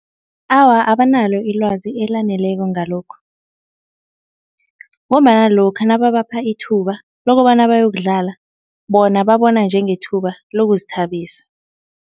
Awa abanalo ilwazi elaneleko ngalokhu ngombana lokha nababapha ithuba lokobana bayokudlala, bona babona njengethuba lokuzithabisa.